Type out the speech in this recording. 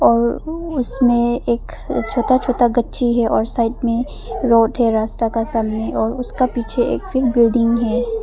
उसमें एक छोटा छोटा गच्ची है और साइड में रोड है रास्ता का सामने और उसका पीछे एक फिर बिल्डिंग है।